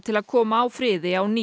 til að koma á friði á ný